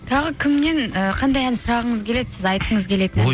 тағы кімнен ііі қандай ән сұрағыңыз келеді сіз айтқыңыз келетін